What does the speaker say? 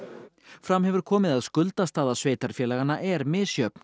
fram hefur komið að skuldastaða sveitarfélaganna er misjöfn